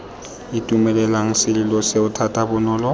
itumelela sesolo seo thata bonolo